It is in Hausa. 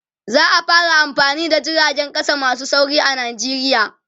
za'a fara amfani da jiragen ƙasa masu sauri a nijeriya